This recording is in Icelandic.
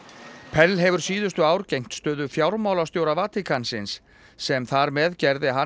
pell hefur síðustu ár gegnt stöðu fjármálastjóra Vatíkansins sem þar með gerði hann